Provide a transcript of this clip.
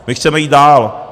My chceme jít dál.